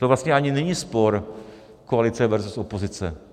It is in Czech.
To vlastně ani není spor koalice versus opozice.